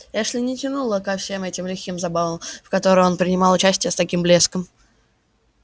эшли не тянуло ко всем этим лихим забавам в которых он принимал участие с таким блеском